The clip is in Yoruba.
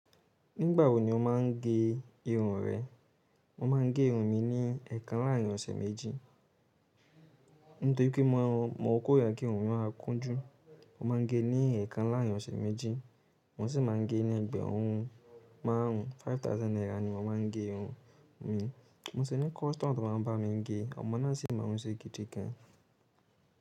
Nígbà wo ni o máa ń gẹ irun rẹ? Mo máa ń gẹ irun mi ní ẹ̀ẹ̀kan láàrín ọ̀sẹ̀ méjì. Nítorí pé mo kórìíra kí irun mi, ó máa ń kún jù. Mo máa ń gé ní ẹ̀ẹ̀kan láàrín ọ̀sẹ̀ méjì. Mọ́n sì máa ń gé ní ẹgbẹ̀rún márùn-ún, five thousand naira ni mọ́n máa ń gé irun mi. Mo sì ní custom to máa ń bá mi gé. Ọmọ náà sì mọrún ń ṣe gidi gan.